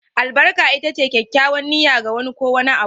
Albarka ita ce kyakkyawar niyya, ga wani ko wani abu